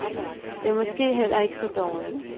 Det er måske heller ikke så dårligt.